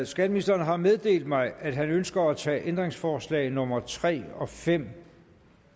skatteministeren har meddelt mig at han ønsker at tage ændringsforslag nummer tre fem